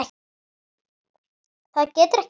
Það getur ekki verið